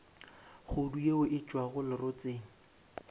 kgodu yeo e tšwago lerotseng